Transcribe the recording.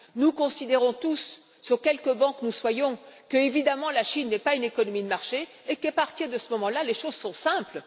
Nous considérons tous, sur quelque banc que nous soyons, que, évidemment, la Chine n'est pas une économie de marché et qu'à partir de ce moment là, les choses sont simples.